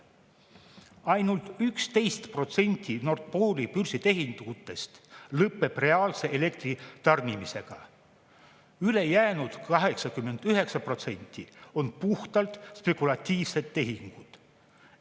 Ainult 11% Nord Pooli börsi tehingutest lõpeb reaalse elektri tarnimisega, ülejäänud 89% on puhtalt spekulatiivsed tehingud.